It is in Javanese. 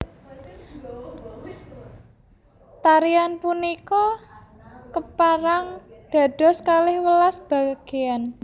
Tarian punika kaperang dados kalih welas bageyan